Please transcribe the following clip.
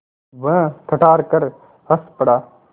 वह ठठाकर हँस पड़ा